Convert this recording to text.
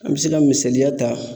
An be se ka misaliya ta